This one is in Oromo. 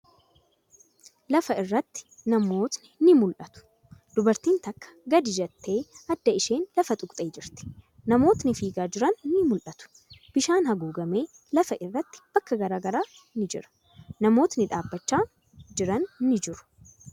Lafa irratti namootni ni mul'atu. Dubartiin takka gadi jettee adda isheen lafa tuqxee jirti. Namootni fiigaa jiran ni mul'atu. Bishaan haguugame lafa irratti bakka garagaraatti ni jira. Namootni dhaabbachaa jiran ni jiru.